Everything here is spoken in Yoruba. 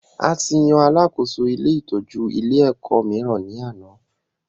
A tí yan alàkóso ilé ìtọjú ilé ẹ̀kọ́ míìrán ni àná